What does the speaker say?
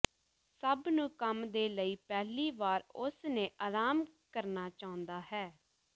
ਸਭ ਨੂੰ ਕੰਮ ਦੇ ਲਈ ਪਹਿਲੀ ਵਾਰ ਉਸ ਨੇ ਆਰਾਮ ਕਰਨਾ ਚਾਹੁੰਦਾ ਹੈ